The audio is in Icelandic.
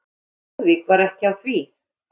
En Lúðvík var ekki á því.